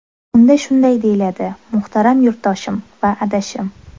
Unda shunday deyiladi: Muhtaram yurtdoshim va adashim!